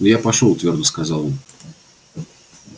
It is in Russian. ну я пошёл твёрдо сказал он